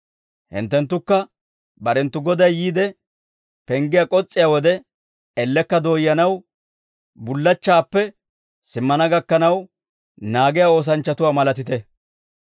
Hinttenttukka, barenttu Goday yiide penggiyaa k'os's'iyaa wode, ellekka dooyyanaw bullachchaappe simmana gakkanaw naagiyaa oosanchchatuwaa malatite.